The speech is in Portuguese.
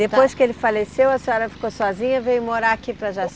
Depois que ele faleceu, a senhora ficou sozinha e veio morar aqui para